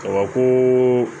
Ɔwɔ ko